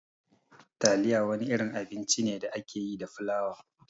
Taliya wani irin abinci ne da ake yi da flawa.